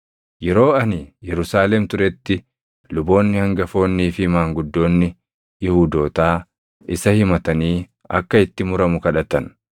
Yeroo ani Yerusaalem turetti luboonni hangafoonnii fi maanguddoonni Yihuudootaa isa himatanii akka itti muramu kadhatan.